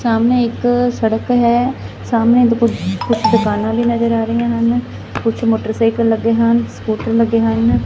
ਸਾਹਮਣੇ ਇੱਕ ਸੜਕ ਹੈ ਸਾਹਮਣੇ ਕੁਝ ਕੁਝ ਦੁਕਾਨਾਂ ਵੀ ਨਜ਼ਰ ਆ ਰਹੀਆਂ ਹਨ ਕੁਝ ਮੋਟਰਸਾਈਕਲ ਲੱਗੇ ਹਨ ਸਕੂਟਰ ਲੱਗੇ ਹਨ।